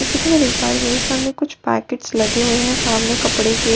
जैसे की मैं देख पा रही हूँ मेरे सामने कुछ पैकेट्स लगे हुए हैं सामने कपडे के --